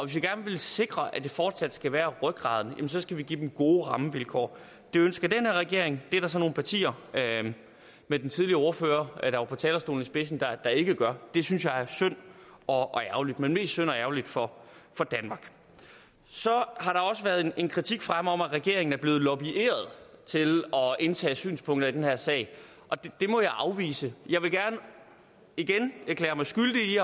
vi gerne vil sikre at det fortsat skal være rygraden så skal vi give dem gode rammevilkår det ønsker den her regering det er der så nogle partier med den tidligere ordfører på talerstolen i spidsen der ikke gør det synes jeg er synd og ærgerligt men mest synd og ærgerligt for danmark så har der også været en kritik fremme om at regeringen er blevet lobbyet til at indtage synspunkter i den her sag det må jeg afvise jeg vil gerne igen erklære mig skyldig